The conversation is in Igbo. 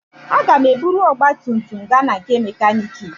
Aga m eburu ọgba tum tum gaa na mekaniki.